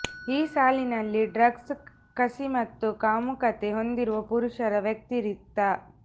ಈ ಸಾಲಿನಲ್ಲಿ ಡ್ರಗ್ಸ್ ಕಸಿ ಮತ್ತು ಕಾಮುಕತೆ ಹೊಂದಿರುವ ಪುರುಷರ ವ್ಯತಿರಿಕ್ತ